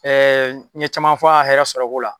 n ye caman fɔ a hɛrɛ sɔrɔko la.